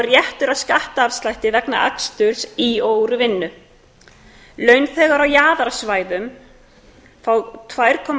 er réttur að skattafslætti vegna aksturs í og úr vinnu launþegar á jaðarsvæðum fá tvær komma